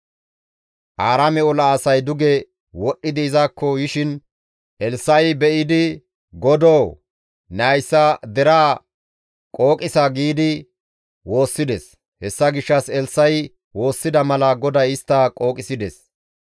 Aaraame ola asay duge wodhdhidi izakko yishin Elssa7i be7idi, «GODOO! Ne hayssa deraa qooqissa» giidi woossides; hessa gishshas Elssa7i woossida mala GODAY istta qooqisides.